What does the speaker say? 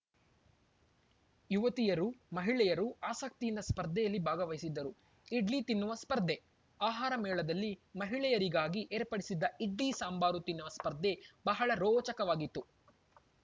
ಯುವತಿಯರು ಮಹಿಳೆಯರು ಆಸಕ್ತಿಯಿಂದ ಸ್ಪರ್ಧೆಯಲ್ಲಿ ಭಾಗವಹಿಸಿದ್ದರು ಇಡ್ಲಿ ತಿನ್ನುವ ಸ್ಪರ್ಧೆ ಆಹಾರ ಮೇಳದಲ್ಲಿ ಮಹಿಳೆಯರಿಗಾಗಿ ಏರ್ಪಡಿಸಿದ್ದ ಇಡ್ಲಿ ಸಾಂಬಾರು ತಿನ್ನುವ ಸ್ಪರ್ಧೆ ಬಹಳ ರೋಚಕವಾಗಿತ್ತು